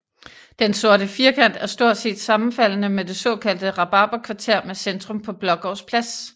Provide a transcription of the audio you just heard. Den sorte firkant er stort set sammenfaldende med det såkaldte rabarberkvarter med centrum på Blågårds Plads